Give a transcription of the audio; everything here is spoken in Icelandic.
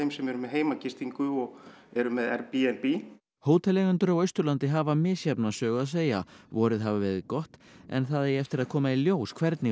sem eru með heimagistingu og eru með Airbnb hóteleigendur á Austurlandi hafa misjafna sögu að segja vorið hafi verið gott en það eigi eftir að koma í ljós hvernig